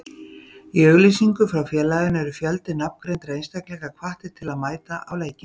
Í auglýsingu frá félaginu eru fjöldi nafngreindra einstaklinga hvattir til að mæta á leikinn.